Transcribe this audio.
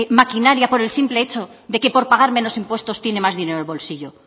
maquinaria por el simple hecho de que por pagar menos impuestos tiene más dinero en el bolsillo